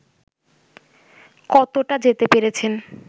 কতটা যেতে পেরেছেন